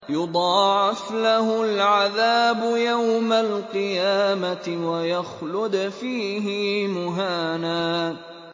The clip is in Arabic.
يُضَاعَفْ لَهُ الْعَذَابُ يَوْمَ الْقِيَامَةِ وَيَخْلُدْ فِيهِ مُهَانًا